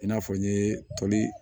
I n'a fɔ n ye toli